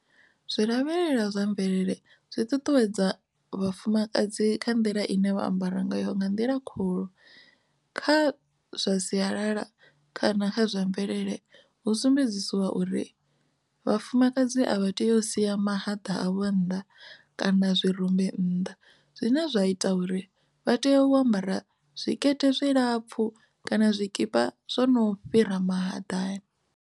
Zwi lavhelela zwa mvelele zwi ṱuṱuwedza vhafumakadzi kha nḓila ine vha ambara ngayo nga nḓila khulu kha zwa sialala kana kha zwa mvelele hu sumbedziwa uri vhafumakadzi a vha tei u sia mahaḓa a vho nnḓa kana zwirumbi nnḓa zwine zwa ita uri vha tea u ambara zwikete zwi lapfhu kana zwikipa zwono fhira mahaḓani.